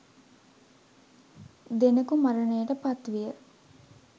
දෙනෙකු මරණයට පත්විය